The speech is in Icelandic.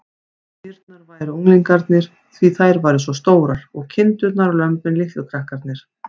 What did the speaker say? Kýrnar væru unglingarnir, því þær væru svo stórar, og kindurnar og lömbin litlu krakkarnir.